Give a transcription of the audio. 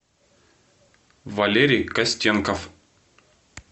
валерий костенков